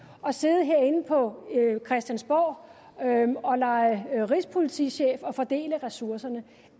og sidde herinde på christiansborg og lege rigspolitichef og fordele ressourcerne